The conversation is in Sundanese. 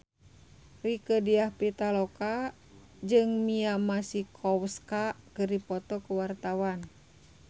Rieke Diah Pitaloka jeung Mia Masikowska keur dipoto ku wartawan